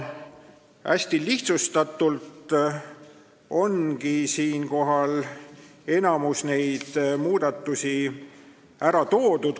Hästi lihtsustatult ongi nüüd enamik muudatusi ära toodud.